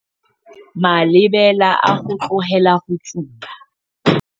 Malebela a ho tlohela ho tsuba